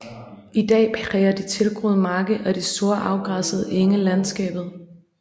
I dag præger de tilgroede marker og de store afgræssede enge landskabet